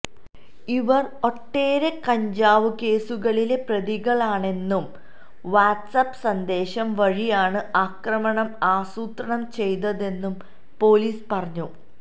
ഇവര് ഒട്ടേറെ കഞ്ചാവ് കേസുകളിലെ പ്രതികളാണെന്നും വാട്സാപ് സന്ദേശം വഴിയാണ് ആക്രമണം ആസൂത്രണം ചെയ്തതെന്നും പോലീസ് പറഞ്ഞു